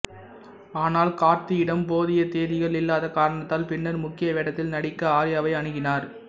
ஆனால் கார்த்தியிடம் போதிய தேதிகள் இல்லாத காரணத்தால் பின்னர் முக்கிய வேடத்தில் நடிக்க ஆர்யாவை அணுகினார்